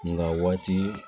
Nga waati